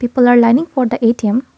polar lining for the A_T_M.